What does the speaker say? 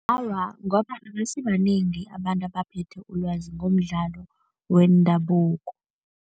Awa, ngoba abasibanengi abantu abaphethe ulwazi ngomdlalo wendabuko.